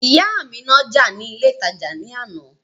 Ìyá mi ń nájà ní ilé ìtajà ní àná